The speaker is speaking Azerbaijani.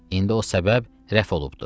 İndi o səbəb rəf olubdur.